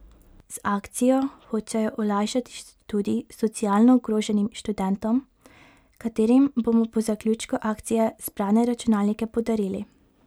Z akcijo hočejo olajšati študij socialno ogroženim študentom, katerim bomo po zaključku akcije zbrane računalnike podarili.